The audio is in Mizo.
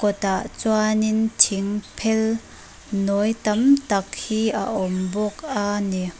kawt ah chuan in thing phel nawi tam tak hi a awm bawk a ni.